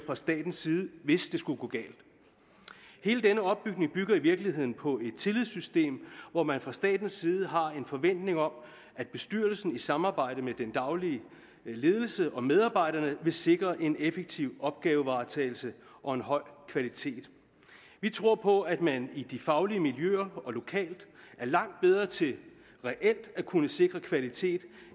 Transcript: fra statens side hvis det skulle gå galt hele den opbygning bygger i virkeligheden på et tillidssystem hvor man fra statens side har en forventning om at bestyrelsen i samarbejde med den daglige ledelse og medarbejderne vil sikre en effektiv opgavevaretagelse og en høj kvalitet vi tror på at man i de faglige miljøer og lokalt er langt bedre til reelt at kunne sikre kvalitet